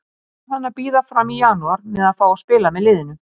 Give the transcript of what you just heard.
Því varð hann að bíða fram í janúar með að fá að spila með liðinu.